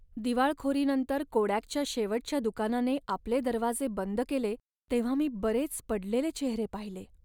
दिवाळखोरीनंतर कोडॅकच्या शेवटच्या दुकानाने आपले दरवाजे बंद केले तेव्हा मी बरेच पडलेले चेहरे पाहिले.